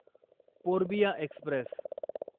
Purbiya Express